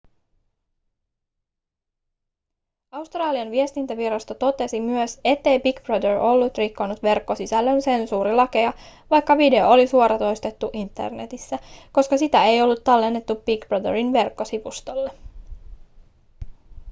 australian viestintävirasto totesi myös ettei big brother ollut rikkonut verkkosisällön sensuurilakeja vaikka video oli suoratoistettu internetissä koska sitä ei ollut tallennettu big brotherin verkkosivustolle